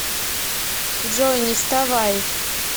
джой не вставай